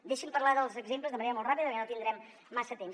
deixi’m parlar dels exemples de manera molt ràpida perquè no tindrem massa temps